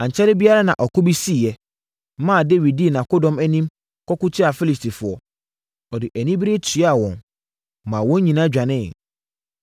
Ankyɛre biara na ɔko bi siiɛ, maa Dawid dii nʼakodɔm anim kɔko tiaa Filistifoɔ. Ɔde anibereɛ tuaa wɔn, maa wɔn nyinaa dwaneeɛ.